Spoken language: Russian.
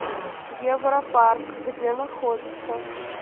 европарк где находится